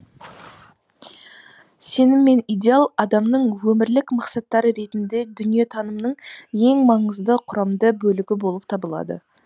сенім мен идеал адамның өмірлік мақсаттары ретінде дүниетанымның ең маңызды құрамды бөлігі болып табылады